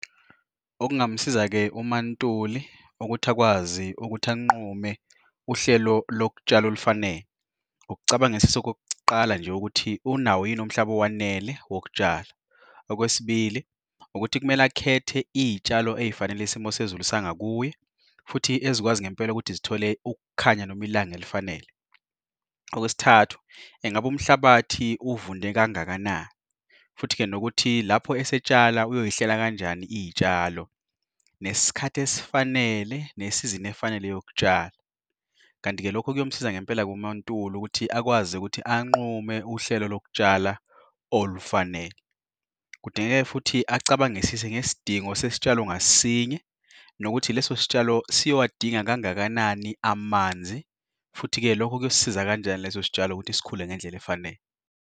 Okungamsiza-ke uMaNtuli ukuthi akwazi ukuthi anqume uhlelo lokutshala olufanele. Ukucabangisisa okokuqala nje, ukuthi unawo yini umhlaba owanele wokutshala. Okwesibili, ukuthi kumele akhethe iy'tshalo ey'fanele isimo sezulu sangakuye, futhi ezikwazi ngempela ukuthi zithole ukukhanya noma ilanga elifanele. Okwesithathu, engabe umhlabathi uwuvunde kangakanani, futhi-ke nokuthi lapho esetshala uyoy'hlela kanjani iy'tshalo nesikhathi esifanele ne-season efanele yokutshala. Kanti-ke lokhu kuyomsiza ngempela uMaNtuli ukuthi akwazi ukuthi anqume uhlelo lokutshala olufanele. Kudingeka futhi acabangisise ngesidingo sesitshalo ngasinye, nokuthi lesos'tshalo siyowadinga kangakanani amanzi. Futhi-ke lokho kuyosisiza kanjani leso sitshalo ukuthi sikhule ngendlela efanele.